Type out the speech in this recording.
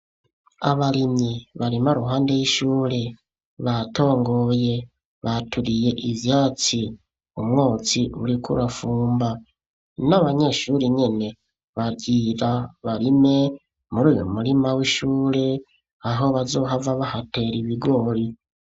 Abarimyi barima ruhande y'ishure batongoye baturiye ivyatsi umwotsi buri kurafumba n'abanyeshuri nyene bagira barime muri uyu murima w'ishure aho bazohava bahatera ibigori.